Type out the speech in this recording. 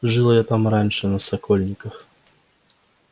жил я там раньше на сокольниках